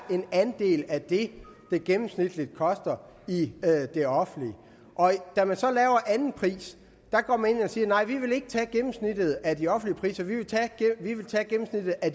en andel af det det gennemsnitligt koster i det det offentlige og da man så laver den anden pris går man ind og siger nej vi vil ikke tage gennemsnittet af de offentlige priser vi vil tage gennemsnittet af